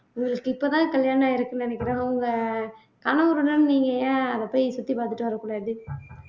உங்களுக்கு இப்பதான் கல்யாணம் ஆயிருக்குன்னு நினைக்கிறேன் உங்க கணவருடன் நீங்க ஏன் அதை போய் சுத்தி பாத்துட்டு வரக் கூடாது